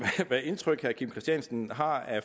har